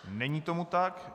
Není tomu tak.